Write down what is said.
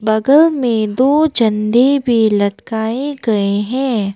बगल में दो झंडे भी लटकाए गए हैं।